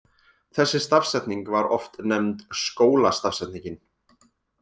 Þessi stafsetning var oft nefnd skólastafsetningin.